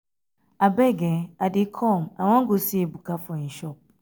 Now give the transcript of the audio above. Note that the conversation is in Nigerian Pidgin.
abeg i dey come i wan go see ebuka for im shop